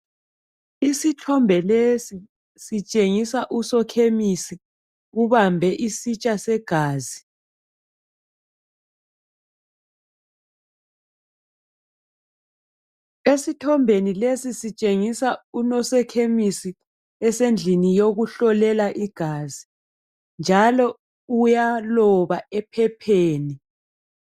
Isithombe lesi sitshengisa, usokhemesi. Ubambe isitsha segazi. Isithombe lesi sitshengisa unosokhemisi esendlini yokuhlolela igazi, njalo uyaloba ephepheni.